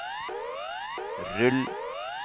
rull